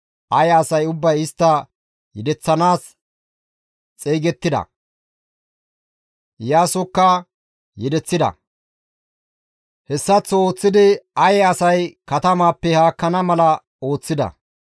Aye asay ubbay istta yedeththanaas xeygettida; Iyaasokka yedeththida; hessaththo ooththidi Aye asay katamaappe haakkana mala ooththida.